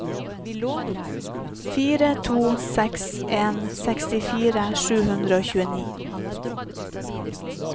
fire to seks en sekstifire sju hundre og tjueni